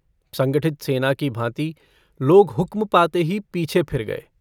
संगठित सेना की भाँति लोग हुक्म पाते ही पीछे फिर गये।